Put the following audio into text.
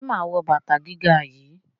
Ṣé mà á wọ bàtà gíga yìí?